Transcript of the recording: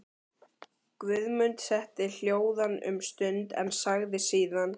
Guðmund setti hljóðan um stund en sagði síðan